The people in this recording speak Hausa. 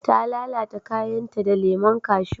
ta lalata kayan ta da lemon kashu